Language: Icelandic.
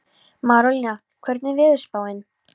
Marólína, hvernig er veðurspáin?